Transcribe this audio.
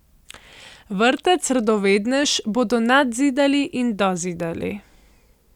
Vrtec Radovednež bodo nadzidali in dozidali.